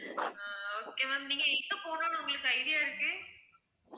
அஹ் okay ma'am நீங்க எங்க போகணும்னு உங்களுக்கு idea இருக்கு